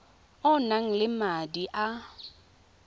o nang le madi a